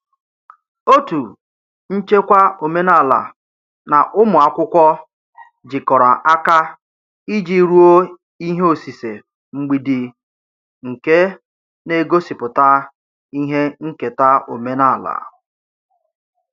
Otu nchekwa omenala na ụmụ akwụkwọ jikọrọ aka iji rụọ ihe osise mgbidi nke na-egosipụta ihe nketa omenala.